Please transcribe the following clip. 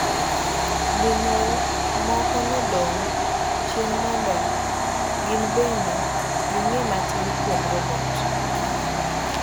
Jonyuol moko nodong' chien mondo gin bende ging'eye matin kuom robot.